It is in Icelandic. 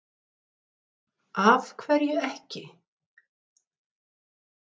Þórhildur: Af hverju ekki?